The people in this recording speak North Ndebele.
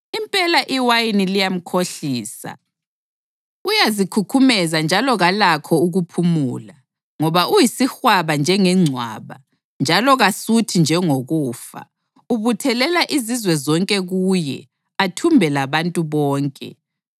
Impela iwayini liyamkhohlisa; uyazikhukhumeza njalo kalakho ukuphumula. Ngoba uyisihwaba njengengcwaba, njalo kasuthi njengokufa, ubuthelela izizwe zonke kuye athumbe labantu bonke.